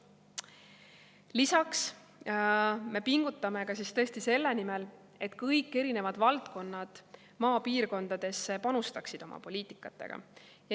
Lisaks me pingutame tõesti selle nimel, et kõik erinevad valdkonnad maapiirkondadesse panustaksid oma poliitikaga.